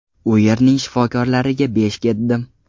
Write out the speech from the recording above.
U yerning shifokorlariga besh ketdim.